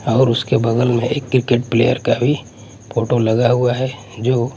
और उसके बगल में एक क्रिकेट प्लेयर का भी फोटो लगा हुआ है जो--